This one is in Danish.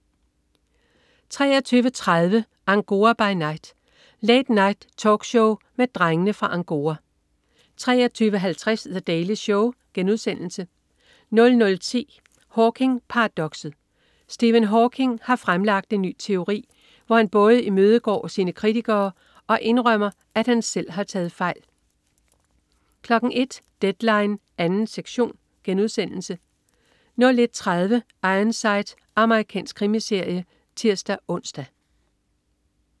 23.30 Angora by Night. Late Night-talkshow med Drengene fra Angora 23.50 The Daily Show* 00.10 Hawking-paradokset. Stephen Hawking har fremlagt en ny teori, hvor han både imødegår sine kritikere og indrømmer, at han selv har taget fejl 01.00 Deadline 2. sektion* 01.30 Ironside. Amerikansk krimiserie (tirs-ons)